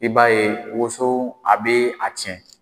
I b'a ye woso a be a tiɲɛ.